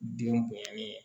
Den bonyana ye